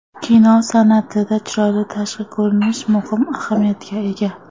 Kino san’atida chiroyli tashqi ko‘rinish muhim ahamiyatga ega.